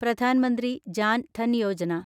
Pradhan Mantri Jan Dhan Yojana